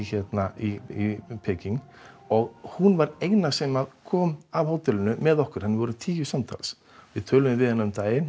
í Peking og hún var eina sem kom af hótelinu með okkur þannig við vorum tíu samtals við töluðum við hana um daginn